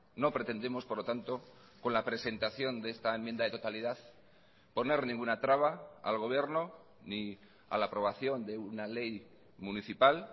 no pretendemos por lo tanto con la presentación de esta enmienda de totalidad poner ninguna traba al gobierno ni a la aprobación de una ley municipal